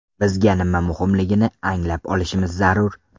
Bizga nima muhimligini anglab olishimiz zarur.